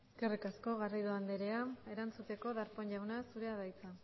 eskerrik asko garrido andrea erantzuteko darpón jauna zurea da hitza